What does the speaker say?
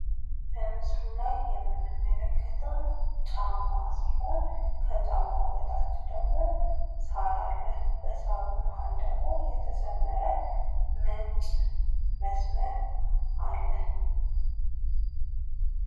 በምስሉ ላይ የምንመለከተው ጫማ ሲሆን ከጫማው በታች ደግሞ ሳር አለ። ከሳሩም ማህል ደግሞ የተሰመረ ነጭ መስመር አለ።